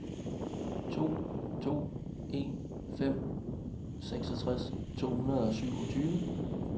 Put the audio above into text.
to to en fem seksogtres to hundrede og syvogtyve